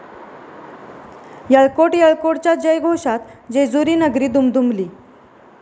यळकोट..यळकोट...'च्या जयघोषात जेजुरीनगरी दुमदुमली